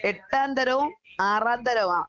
എട്ടാം തരവും ആറാം തരവുവാ.